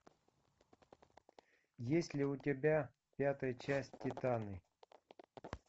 есть ли у тебя пятая часть титаны